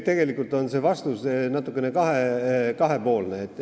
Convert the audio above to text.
Tegelikult on vastus kahepoolne.